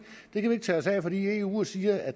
ikke tage os af fordi eu siger at